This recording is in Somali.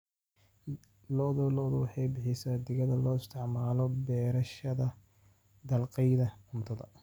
Lo'du waxay bixisaa digada loo isticmaalo beerashada dalagyada cuntada.